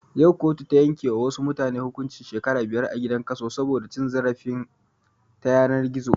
Yau kotu ta yanke wa wasu mutane hukuncin shekara biyar a gidan kaso saboda cin zarafi ta yanar gizo